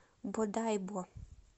бодайбо